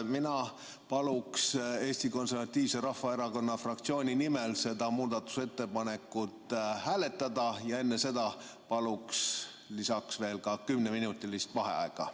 Mina paluks Eesti Konservatiivse Rahvaerakonna fraktsiooni nimel seda muudatusettepanekut hääletada ja enne seda paluks lisaks veel kümneminutilist vaheaega.